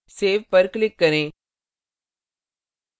save पर click करें